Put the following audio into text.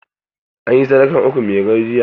An yi sadakar ukun mairo jiya.